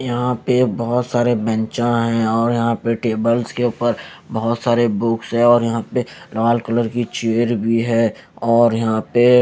यहां पे बहोत सारे बेंचा हैं और यहां पे टेबल्स के ऊपर बहुत सारे बुक्स है और यहां पे लाल कलर की चेयर भी है और यहां पे--